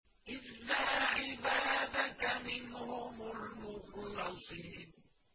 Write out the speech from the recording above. إِلَّا عِبَادَكَ مِنْهُمُ الْمُخْلَصِينَ